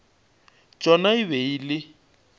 tšona e be e le